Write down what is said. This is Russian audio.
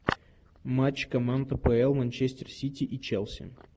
матч команд апл манчестер сити и челси